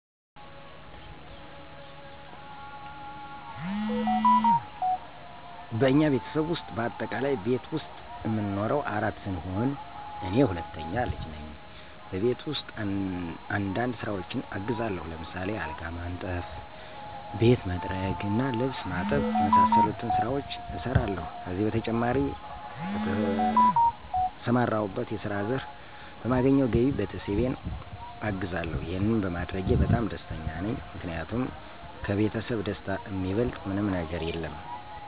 በእኛ ቤተሰብ ውስጥ በአጠቃላይ ቤት ዉስጥ እምንኖረው አራት ስንሆን እኔ ሁለተኛ ልጅ ነኝ። በቤት ውስጥ አንዳንድ ስራዎችን አግዛለሁ። ለምሳሌ አልጋ ማንጠፍ፣ ቤት መጥረግ እና ልብስ ማጠብ የመሳሰሉትን ስራዎች እሰራለሁ። ከዚህ በተጨማሪ በተሰማራሁበት የስራ ዘርፍ በማገኘው ገቢ ቤተሰቤን አግዛለሁ። ይሄንም በማድረጌ በጣም ደስተኛ ነኝ። ምክንያቱም ከቤተሰብ ደስታ እሚበልጥ ምንም ነገር የለም።